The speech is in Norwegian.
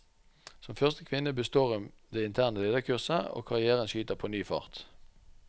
Som første kvinne består hun det interne lederkurset, og karrièren skyter på ny fart.